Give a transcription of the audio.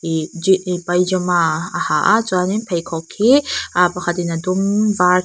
paijama a ha a chuan in pheikhawk hi ah pakhat in a dum var--